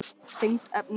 Tengt efni